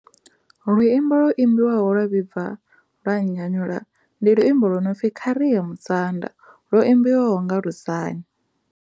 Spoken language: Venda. Luimbo lwo imbiwaho lwa vhibva lwa nnyanyula ndi luimbo lwo nori kha ri ye musanda lwo imbiwaho nga Lusani.